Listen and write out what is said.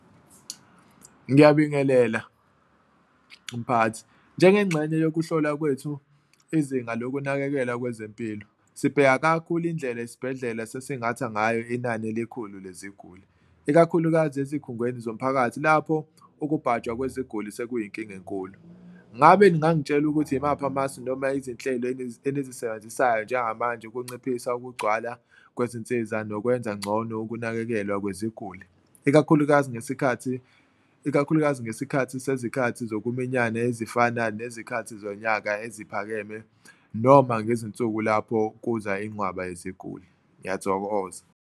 Ngiyabingelela mphakathi, njengenxenye yokuhlola kwethu izinga lokunakekela kwezempilo sibheka kakhulu indlela esibhedlela sesingatha ngayo inani elikhulu leziguli, ikakhulukazi ezikhungweni zomphakathi lapho usubhajwa kweziguli sekuyinkinga enkulu. Ngabe ningangitshela ukuthi imaphi amasu noma izinhlelo enizisebenzisayo njengamanje ukunciphisa ukugcwala kwezinsiza nokwenza ngcono ukunakekelwa kweziguli. Ikakhulukazi ngesikhathi ikakhulukazi ngesikhathi sezikhathi zokuminyana ezifana nezikhathi zonyaka eziphakeme noma ngezinsuku lapho kuza inqwaba yeziguli. Ngiyathokoza.